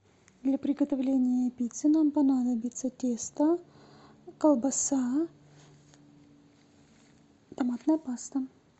для приготовления пиццы нам понадобится тесто колбаса томатная паста